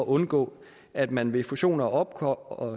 undgå at man ved fusioner og